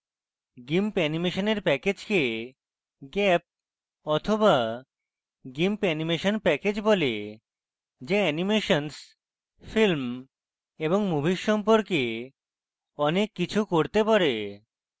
gimp অ্যানিমেশনের প্যাকেজকে gap the gimp animation package বলে the অ্যানিমেশন্স films এবং movies সম্পর্কে অনেক কিছু করতে পারে